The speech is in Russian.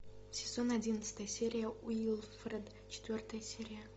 сезон одиннадцатый серия уилфред четвертая серия